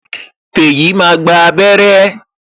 Feyi máa gba abere